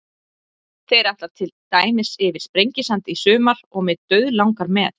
Þeir ætla til dæmis yfir Sprengisand í sumar og mig dauðlangar með.